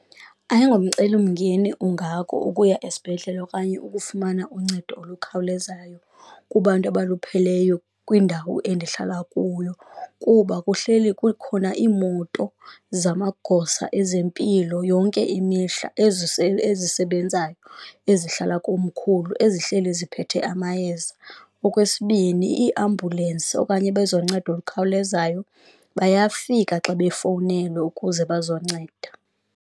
Ayingomcelimngeni ungako ukuya esibhedlele okanye ukufumana uncedo olukhawulezayo kubantu abalupheleyo kwindawo endihlala kuyo, kuba kuhleli kukhona iimoto zamagosa ezempilo yonke imihla ezisebenzayo ezihlala komkhulu ezihleli ziphethe amayeza. Okwesibini, iiambulensi okanye abezoncedo olukhawulezayo bayafika xa bafowunelwe ukuze bazonceda.